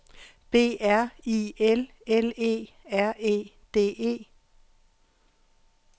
B R I L L E R E D E